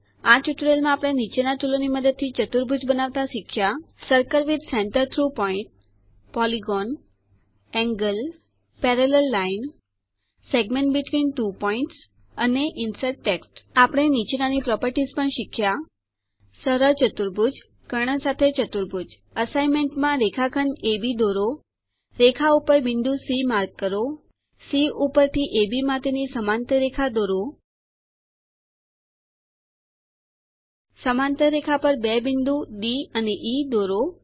આ ટ્યુટોરીયલમાં આપણે નીચેના ટુલોની મદદથી ચતુર્ભુજ બનાવતા શીખ્યા circle with centre through point polygon angle parallel line segment between two points અને ઇન્સર્ટ ટેક્સ્ટ આપણે નીચેનાની પ્રોપેરટીશ પણ શીખ્યા સરળ ચતુર્ભુજ કર્ણ સાથે ચતુર્ભુજ અસાઇનમેન્ટમાં રેખાખંડ અબ દોરો રેખા ઉપર બિંદુ સી માર્ક કરો સી ઉપર અબ માટેની સમાંતર રેખા દોરો સમાંતર રેખા પર બે બિંદુ ડી અને ઇ દોરો